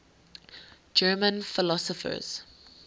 german philosophers